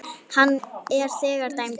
Hann er þegar dæmdur.